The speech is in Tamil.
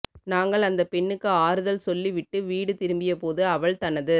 நாங்கள் அந்த பெண்ணுக்கு ஆறுதல் சொல்லி விட்டு வீடு திரும்பிய போது அவள் தனது